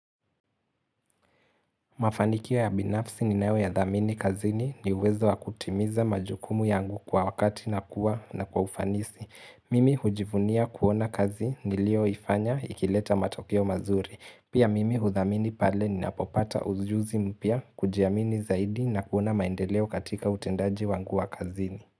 Mafanikio ya binafsi niyo yadhamini kazini ni uwezo wa kutimiza majukumu yangu kwa wakati na kwa ufanisi. Mimi hujivunia kuona kazi nilio ifanya ikileta matokeo mazuri. Pia mimi hudhamini pale ninapopata ujuzi mpya kujiamini zaidi na kuona maendeleo katika utendaji wangu wa kazini.